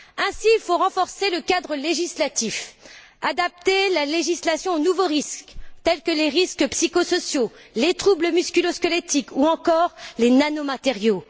Ainsi, il faut renforcer le cadre législatif, adapter la législation aux nouveaux risques, tels que les risques psycho sociaux, les troubles musculo squelettiques ou encore les nanomatériaux.